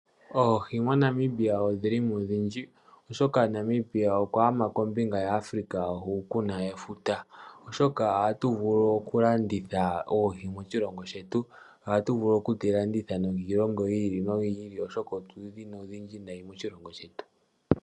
Oohi moNamibia odhilimo odhindji oshoka Namibia okwagama kombinga ya africa hukuna efuta oshoka ohatu vulu okulanditha oohi moshilongo shetu ohatu vulu oku dhi landitha nenge okiilongo yi ili no yi ili oshoka otudhina odhindji nayi moshilongo shetu.